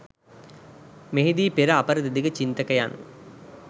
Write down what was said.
මෙහිදී පෙර අපර දෙදිග චින්තකයන්